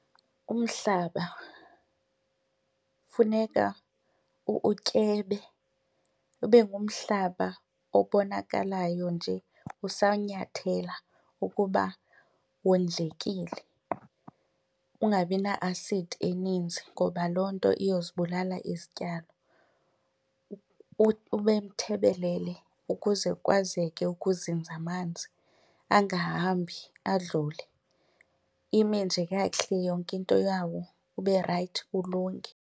Umhlaba funeka utyebe ube ngumhlaba obonakalayo nje usanyathela ukuba wondlekile ungabi na-asidi eninzi ngoba loo nto iyozibulala izityalo. Ube mthebelele ukuze kwazeke ukuzinza amanzi angahambi adlule, ime nje kakuhle yonke into yawo ube rayithi ulunge.